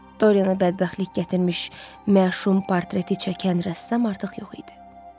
Doryana bədbəxtlik gətirmiş məşum portreti çəkən rəssam artıq yox idi.